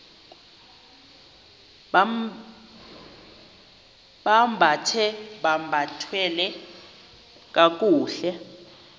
bambathe bathwale kakuhle